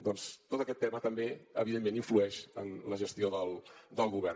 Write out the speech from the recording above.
doncs tot aquest tema també evidentment influeix en la gestió del govern